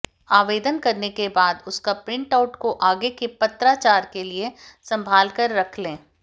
आवेदन करने के बाद उसका प्रिंटआउट को आगे के पत्राचार के लिए संभालकर रख ले